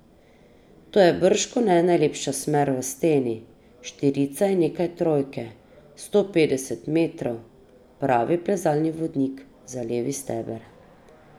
To je bržkone najlepša smer v steni, štirica in nekaj trojke, sto petdeset metrov, pravi plezalni vodnik za Levi steber.